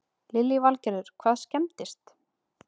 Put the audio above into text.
Lillý Valgerður: Hvað skemmdist?